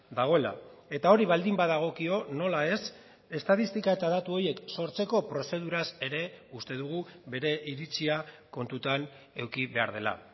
dagoela eta hori baldin badagokio nola ez estatistika eta datu horiek sortzeko prozeduraz ere uste dugu bere iritzia kontutan eduki behar dela